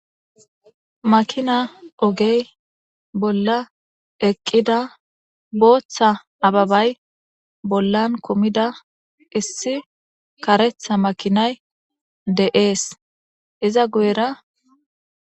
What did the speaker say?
Makina oge bolla eqqida bootha abebay bollan kumida karetha makinay de7eesi. Iza guyera..